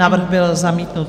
Návrh byl zamítnut.